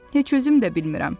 Heç özüm də bilmirəm.